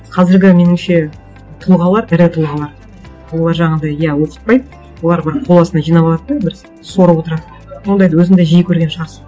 қазіргі меніңше тұлғалар ірі тұлғалар олар жаңағындай иә олар бір қол астына жинап алады да бір сорып отырады ондайды өзің де жиі көрген шығарсың